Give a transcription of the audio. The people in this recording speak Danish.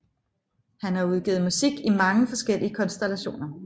Han har udgivet musik i mange forskellige konstellationer